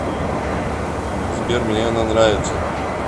сбер мне она нравится